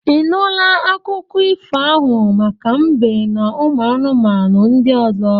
I nụla akụkọ ifo ahụ maka mbe n'ụmụ anụmanụ ndị ọzọ?